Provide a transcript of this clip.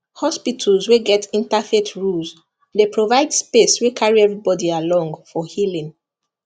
hospitals wey get interfaith rules dey provide space wey carry everybody along for healing